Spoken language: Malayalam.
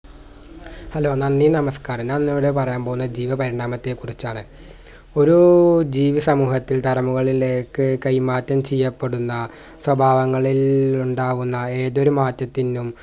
hello നന്ദി നമസ്‌കാരം ഞാൻ ഇന്നിവിടെ പറയാൻ പോകുന്നെ ജീവപരിണാമത്തെ കുറിച്ചാണ് ഒരൂ ജീവിസമൂഹത്തിൽ ദറുമുകളിലേക്ക് കൈമാറ്റം ചെയ്യപ്പെടുന്ന സ്വഭാവങ്ങളിൽ ഉണ്ടാകുന്ന ഏതൊരു മാറ്റത്തിന്നും